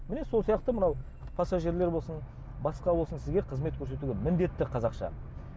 міне сол сияқты мынау пассажирлер болсын басқа болсын сізге қызмет көрсетуге міндетті қазақша